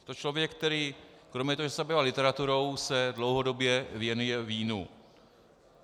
Je to člověk, který kromě toho, že se zabýval literaturou, se dlouhodobě věnuje vínu.